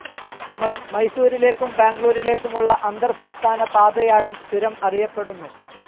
മൈസൂരിലേക്കും ബാഗ്ലൂരിലേക്കുമുള്ള അന്തർസംസ്ഥാന പാതയായും ചുരം അറിയപ്പെടുന്നു.